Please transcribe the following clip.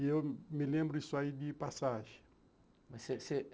E eu me lembro isso aí de passagem. Mas você você